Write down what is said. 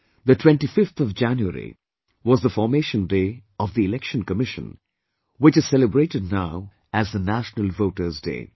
The 25th of January was the Formation Day of the Election Commission, which is celebrated now as the National Voters' Day